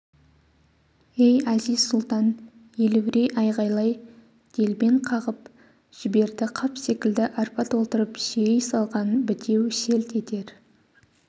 ей әзиз-сұлтан елеурей айғайлап делбен қағып-қағып жіберді қап секілді арпа толтырып сүйей салған бітеу селт етер